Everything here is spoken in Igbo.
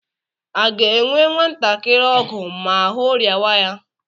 A ga-enwe nwantakiri ọgwụ ma ahụ rịawa ya?